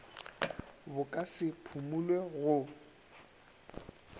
bo ka se phumulwe go